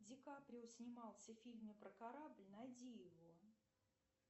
ди каприо снимался в фильме про корабль найди его